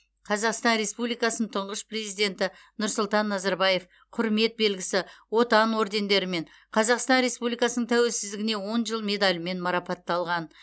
қазақстан республикасының тұңғыш президенті нұрсұлтан назарбаев құрмет белгісі отан ордендерімен қазақстан республикасының тәуелсіздігіне он жыл медалімен марапатталған